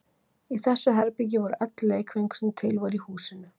Í þessu herbergi voru öll leikföng sem til voru í húsinu.